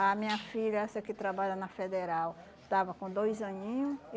A minha filha, essa que trabalha na Federal, estava com dois aninho